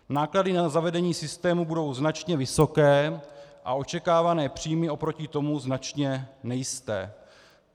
Náklady na zavedení systému budou značně vysoké a očekávané příjmy oproti tomu značně nejisté.